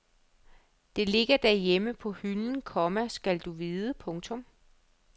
Det ligger derhjemme på hylden, komma skal du vide. punktum